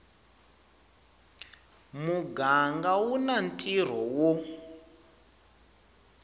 muganga u na ntirho wo